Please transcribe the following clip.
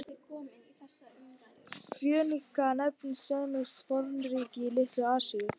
Fönikía nefndist semískt fornríki í Litlu-Asíu.